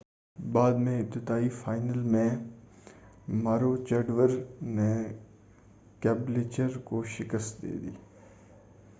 بعد میں ابتدائی فائنل میں ماروچیڈور نے کیبلچر کو شکست دی